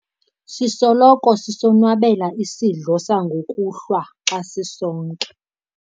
sisoloko sisonwabela isidlo sangokuhlwa xa sisonke